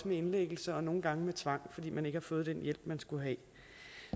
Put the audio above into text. med indlæggelse og nogle gange med tvang fordi man ikke har fået den hjælp man skulle have